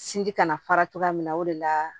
Sinji kana fara cogoya min na o de la